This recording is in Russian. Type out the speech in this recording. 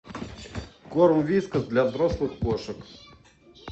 корм вискас для взрослых кошек